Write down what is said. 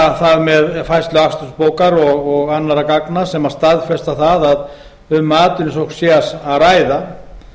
sýna það með færslu akstursbók og annarra gagna sem staðfesta það að um atvinnusókn sé að ræða